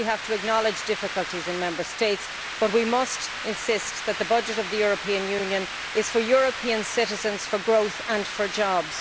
Yes, we have to acknowledge difficulties in Member States, but we must insist that the budget of the European Union is for European citizens, for growth and for jobs.